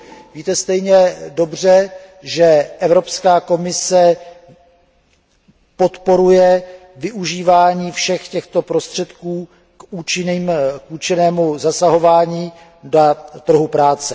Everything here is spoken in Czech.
Víte stejně dobře, že Evropská komise podporuje využívání všech těchto prostředků k účinnému zasahování na trhu práce.